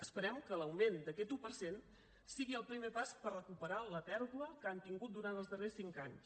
esperem que l’augment d’aquest un per cent sigui el primer pas per recuperar la pèrdua que han tingut durant els darrers cinc anys